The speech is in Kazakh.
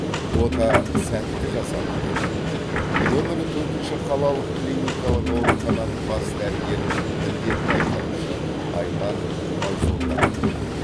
ота сәтті жасалды деді нөмірі төртінші қалалық клиникалық аурухананың бас дәрігерінің міндетін атқарушы айман байзолданов